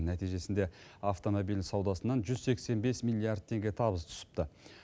нәтижесінде автомобиль саудасынан жүз сексен бес миллиард теңге табыс түсіпті